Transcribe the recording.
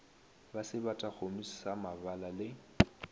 ba sebatakgomo sa mabala le